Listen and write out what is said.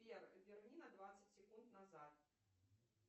сбер верни на двадцать секунд назад